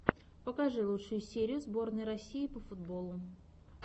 покажи лучшую серию сборной россии по футболу